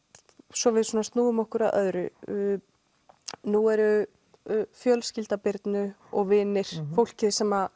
svo við snúum okkur að öðru nú er fjölskylda Birnu og vinir fólkið sem